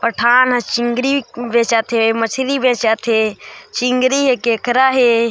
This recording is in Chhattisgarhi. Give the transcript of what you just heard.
पठान चिंगरी बेचत हे मछली बेचत हे चिंगरी हे केकरा हे।